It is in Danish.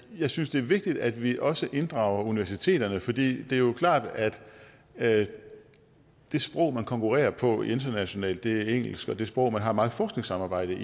jeg synes det er vigtigt at vi også inddrager universiteterne for det er jo klart at det sprog man konkurrerer på internationalt er engelsk og det sprog man har meget forskningssamarbejde